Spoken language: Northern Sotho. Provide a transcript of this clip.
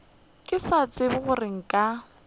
ke sa tsebe gore nka